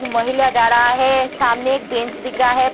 एक महिला जा रहा है सामने एक बेंच दिख रहा है।